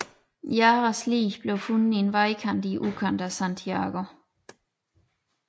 Jaras lig blev fundet i en vejkant i udkanten af Santiago